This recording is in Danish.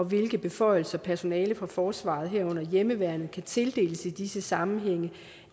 hvilke beføjelser personale fra forsvaret herunder hjemmeværnet kan tildeles i disse sammenhænge